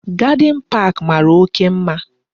Garde park mara oke mma